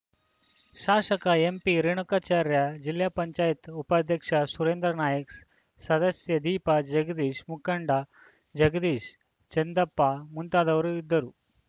ಶಾಸಕ ಎಂಪಿರೇಣುಕಾಚಾರ್ಯ ಜಿಲ್ಲೆ ಪಂಚಾಯಿತ್ ಉಪಾಧ್ಯಕ್ಷ ಸುರೇಂದ್ರನಾಯ್ಕ ಸದಸ್ಯೆ ದೀಪಾ ಜಗದೀಶ್‌ ಮುಖಂಡ ಜಗದೀಶ್‌ ಚಂದಪ್ಪ ಮುಂತಾದವರು ಇದ್ದರು